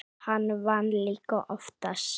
Hann vann líka oftast.